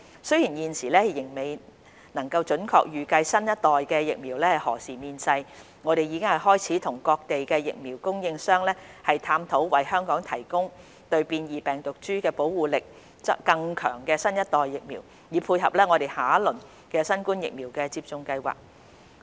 雖然現時仍未能準確預計新一代疫苗何時面世，我們已開始與各地疫苗供應商探討為香港提供對變異病毒株保護力更強的新一代疫苗，以配合我們下一輪新冠疫苗的接種計劃。